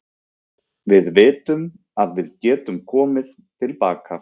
Við vitum að við getum komið til baka.